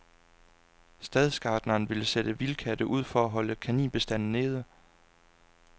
Stadsgartneren vil sætte vildkatte ud for at holde kaninbestanden nede.